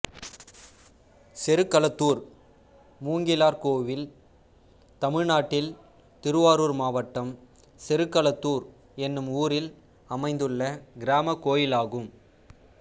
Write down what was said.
செருகளத்தூர் மூங்கிலார் கோயில் தமிழ்நாட்டில் திருவாரூர் மாவட்டம் செருகளத்தூர் என்னும் ஊரில் அமைந்துள்ள கிராமக் கோயிலாகும்